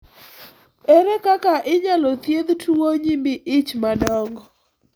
Ere kaka inyalo thiedh tuwo nyimbi ich madongo ?